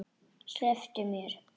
Slepptu mér!